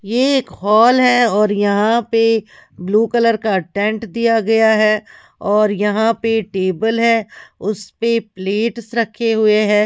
ये एक हॉल है और यहां पे ब्लू कलर का टेंट दिया गया है और यहां पे टेबल हैउस पे प्लेट्स रखे हुए हैं।